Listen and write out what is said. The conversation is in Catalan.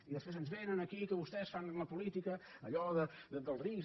i després ens vénen aquí que vostès fan la política allò dels rics